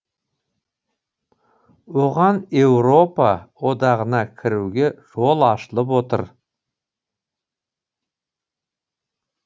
оған еуропа одағына кіруге жол ашылып отыр